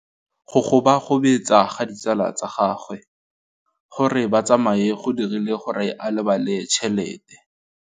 Go gobagobetsa ga ditsala tsa gagwe, gore ba tsamaye go dirile gore a lebale tšhelete.